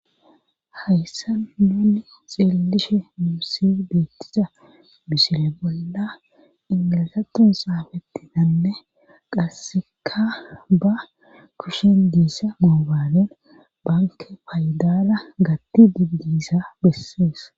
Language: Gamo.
hayssa nuuni xiellishe muussi deettisa misile bolla ingilasaton xaafetinanne qasseka ba kushen diissa moobaanen banke faydala gatti digdiisa bessees